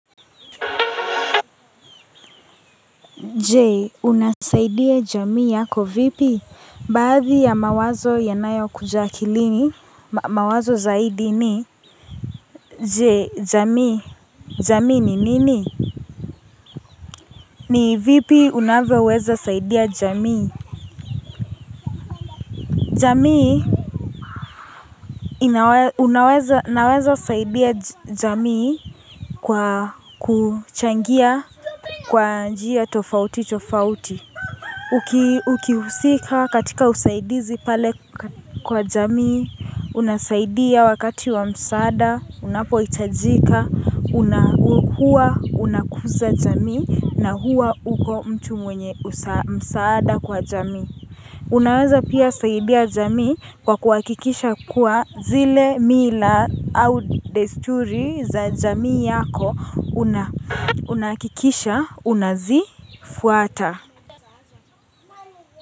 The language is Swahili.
Je unasaidia jamii yako vipi baadhi ya mawazo yanayokuja akilini mawazo zaidi ni Jee jamii jamii ni nini ni vipi unavyoweza saidia jamii? Jamii, unaweza saidia jamii kwa kuchangia kwa njia tofauti tofauti. Ukihusika katika usaidizi pale kwa jamii, unasaidia wakati wa msaada, unapohitajika, huwa unakuza jamii, na hua uko mtu mwenye msaada kwa jamii. Unaweza pia saidia jamii kwa kuhakikisha kuwa zile mila au desturi za jamii yako unahakikisha unazifuata.